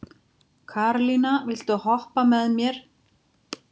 Karlinna, viltu hoppa með mér?